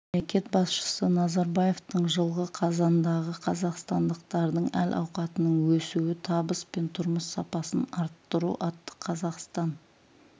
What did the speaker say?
мемлекет басшысы назарбаевтың жылғы қазандағы қазақстандықтардың әл ауқатының өсуі табыс пен тұрмыс сапасын арттыру атты қазақстан